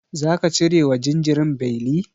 Zaka cire wa jinjirin beli?